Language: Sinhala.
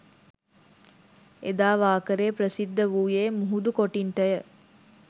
එදා වාකරේ ප්‍රසිද්ධ වූයේ මුහුදු කොටින්ටය